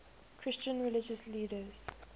christian religious leaders